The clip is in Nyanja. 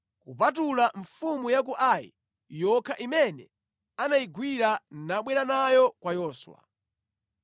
kupatula mfumu ya ku Ai yokha imene anayigwira nabwera nayo kwa Yoswa.